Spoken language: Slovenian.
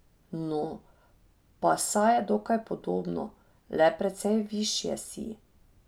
No, pa saj je dokaj podobno, le precej višje si.